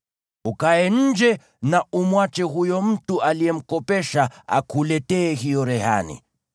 Ukae nje na umwache huyo mtu uliyemkopesha akuletee hiyo rehani.